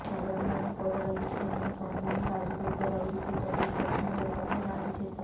నగరంలోని కోటగల్లీకి చెందిన సోమినేని రాజుపై ఇద్దరు రౌడీషీటర్లు విచక్షణారహితంగా దాడి చేశారు